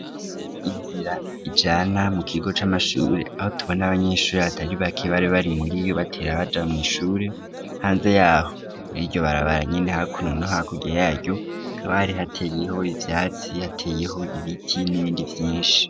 Inzira ijana mu kigo c'amashuri aho tubona abanyeshuri hatari bake bari bari muri iyo batera baja mwishuri hanze yaho muri iryo barabaranyene hakuno nohakurya yaryo kabari hateyeho ivyatsi, hateyeho ibiti n'ibindi vyinshi.